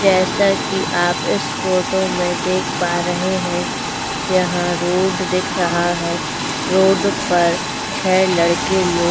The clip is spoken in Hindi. जैसा कि आप इस फोटो में देख पा रहे हैं यहां रोड दिख रहा है रोड पर छह लड़के लोग--